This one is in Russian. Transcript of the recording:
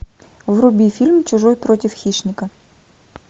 вруби фильм чужой против хищника